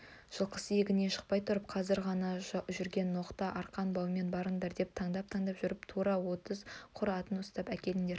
жылқысы егіннен шықпай тұрып қазір ғана жүген-ноқта арқан-баумен барыңдар да таңдап-таңдап жүріп тура отыз құр атын ұстап әкеліңдер